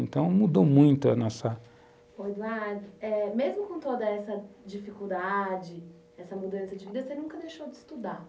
Então, mudou muito a nossa... Pois é. Mesmo com toda essa dificuldade, essa mudança de vida, você nunca deixou de estudar.